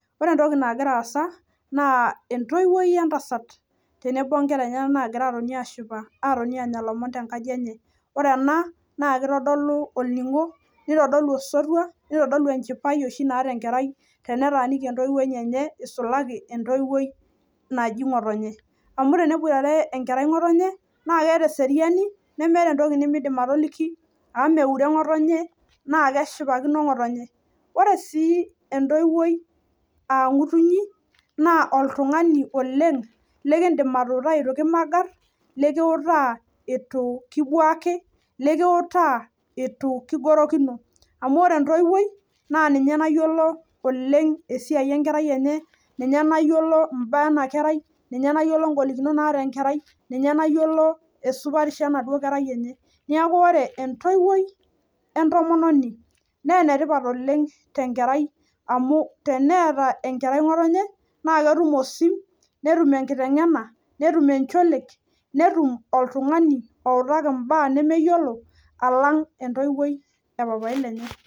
ore entoki nagira asa naa entoiwuoi we ntasat tenemo wontoiwuo enyanak anya ilomon nitodolu enchipai amu ore enkerai tene boitare entowuoi enye naa kening' esiriani, nikuotaa etu kingorokino amu ore entoiwuoi naa ninye nayiolo ibaa ena kerai , ninye nayiolo ibaa naata enakerai , ninye nayiolo esupatisho enaduo kerai enye neeku ore entoiwuoi entomononi naa enetipat oleng tenkerai amu teneeta enkerai nkotonye naa ketum osim netum enkitengena, netum encholiek netum oltungani outaki intokitin nemeyiolo alang entoiwuoi epapai lenye.